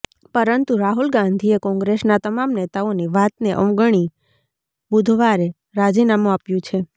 પરંતુ રાહુલ ગાંધીએ કોંગ્રેસના તમામ નેતાઓની વાતને અવગણી બુધવારે રાજીનામું આપ્યુ છે